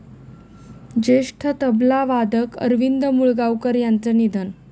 ज्येष्ठ तबलावादक अरविंद मुळगावकर यांचं निधन